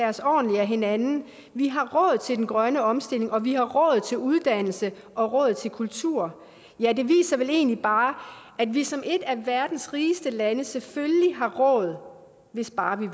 os ordentligt af hinanden vi har råd til den grønne omstilling og vi har råd til uddannelse og råd til kultur ja det viser vel egentlig bare at vi som et af verdens rigeste lande selvfølgelig har råd hvis bare